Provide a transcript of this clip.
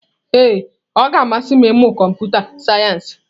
Ee ọ ga-amasị m ịmụ kọmputa sayensị.